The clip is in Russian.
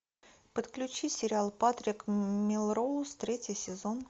подключи сериал патрик мелроуз третий сезон